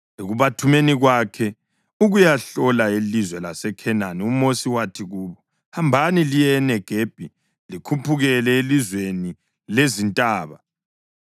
Ekubathumeni kwakhe ukuyahlola ilizwe laseKhenani, uMosi wathi kubo, “Hambani liye eNegebi likhuphukele elizweni lezintaba.